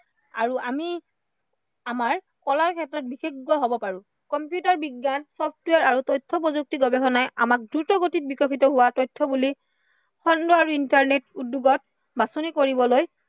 আৰু আমি আমাৰ কলাৰ ক্ষেত্ৰত বিশেষজ্ঞ হব পাৰো। কম্পিউটাৰ বিজ্ঞান, ছফ্টৱেৰ আৰু তথ্য় প্ৰযুক্তিৰ গৱেষণাই আমাক দ্ৰুত গতিত বিকশিত হোৱা উদ্য়োগত বাছনি কৰিবলৈ